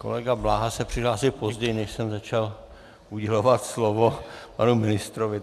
Kolega Bláha se přihlásil později, než jsem začal udělovat slovo panu ministrovi.